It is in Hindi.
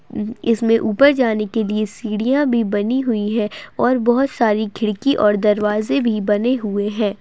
इसमे ऊपर जाने के लिए सीढ़ियां भी बनी हुई है और बहुत सारी खिड़की और दरवाजे भी बने हुए है।